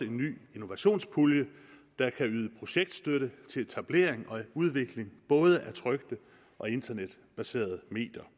ny innovationspulje der kan yde projektstøtte til etablering og udvikling af både trykte og internetbaserede medier